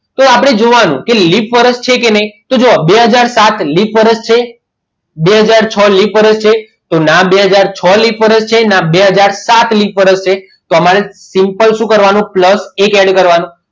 તો આપણે જોવાનું કે લિપ વર્ષ છે કે નહીં તો જોવો બે હાજર ને સાત લિપ વર્ષ છે બે હાજર છો લિપ વર્ષ છે તો ના બે હાજર છો લિપ વર્ષ છે ના બે હાજર સાત લિપ વર્ષ છે તો અમારે simple શું કરવાનું plus એક add કરવાનો